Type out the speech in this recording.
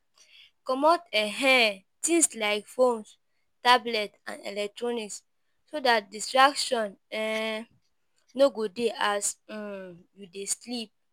comot um things like phones, tablet and electronics so dat distraction um no go dey as um you dey sleep